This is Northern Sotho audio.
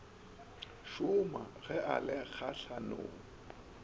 šoma ge a le kgahlanong